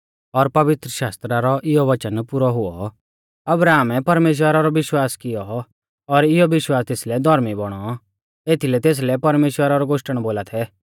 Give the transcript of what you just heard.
और पवित्रशास्त्रा रौ इयौ वचन पुरौ हुऔ अब्राहमै परमेश्‍वरा रौ विश्वास कियौ और इयौ विश्वास तेसलै धौर्मी बौणौ एथीलै तेसलै परमेश्‍वरा रौ गोश्टण बोला थै